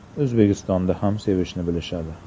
O‘zbekistonda ham sevishni bilishadi.